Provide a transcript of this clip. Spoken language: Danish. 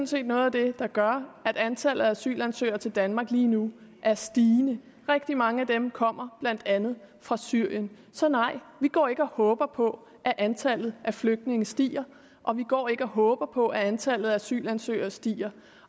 set noget af det der gør at antallet af asylansøgere til danmark lige nu er stigende rigtig mange af dem kommer blandt andet fra syrien så nej vi går ikke og håber på at antallet af flygtninge stiger og vi går ikke og håber på at antallet af asylansøgere stiger